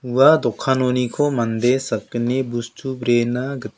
ua dokanoniko mande sakgni bostu brena git--